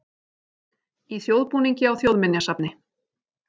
Í þjóðbúningi á Þjóðminjasafni